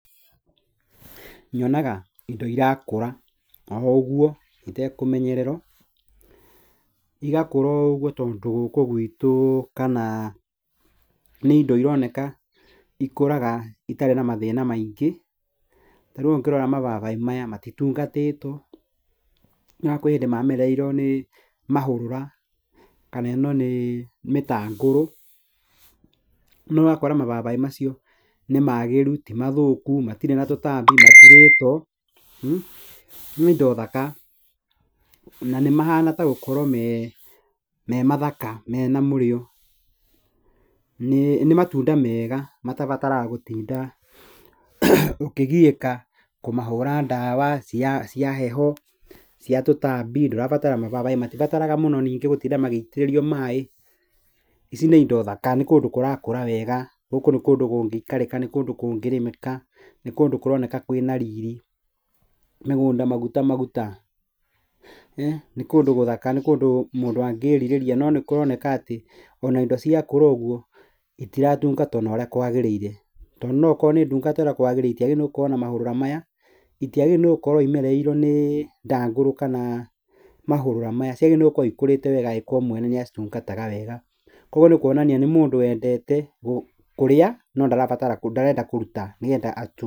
Nyonaga indo irakũra oũguo itekũmenyererwo, tondũ gũkũ gwitũ, kana nĩ indo ĩroneka ikũraga itarĩ na mathĩna maingĩ, ta rĩu ũngĩrora mababaĩ maya matitungatĩtwo na kũrĩ hĩndĩ mamerereirwo nĩ mahũrũra kana ĩno nĩ mĩtangũrũ, na ũgakora mababaĩ macio nĩ magĩru ti mathũku matirĩ na tũtambi matirĩtwo, nĩ indo thaka na nĩ mahana ta gũkorwo me mathaka me na mũrio, nĩ matunda mega matabataraga gũtinda ũkĩgiĩka kũmahũra ndawa cia heho, cia tũtambi, mababaĩ matirabara mũno ningĩ gũtinda magĩitĩrĩrio maĩ, ici nĩ indo thaka, nĩ kũndũ kũrakũra wega, gũkũ nĩ kũndũ kũroneka kũngĩrĩmĩka, nĩ kũndũ kwĩna riri, mĩgũnda maguta maguta, nĩ kũndũ gũthaka, nĩ kũndũ mũndũ angĩrirĩria, no nĩ kũroneka atĩ indo cia kũra ũguo itaratungatwo na ũrĩa kwagĩrĩire, tondũ akorwo nĩ ndungate ũrĩa kwagĩrĩire itagĩrĩire gũkorwo na mahũrũra maya, itaagĩrĩrire gũkorwo imerereirwo nĩ ndangũrũ kana mahũrũra maya, ciagĩrĩirwo nĩ gũkũrwo ikũrĩte wega angĩkorwo mwene nĩ cia tungataga wega, kwoguo nĩ kwonania nĩ mũndũ wendete kũrĩa no ndarenda kũruta, nĩgetha.